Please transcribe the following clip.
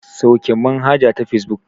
Sauke manhaja ta fesbuk.